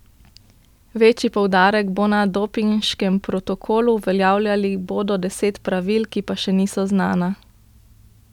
Večji poudarek bo na dopinškem protokolu, uveljavili bodo deset pravil, ki pa še niso znana.